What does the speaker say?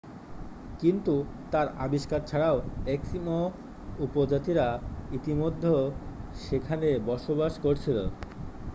কিন্তু তার আবিষ্কার ছাড়াও এস্কিমো উপজাতিরা ইতিমধ্যে সেখানে বসবাস করছিল